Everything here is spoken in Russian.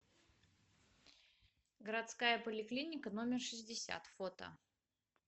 городская поликлиника номер шестьдесят фото